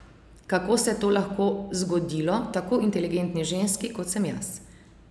Kako se je to lahko zgodilo tako inteligentni ženski, kot sem jaz?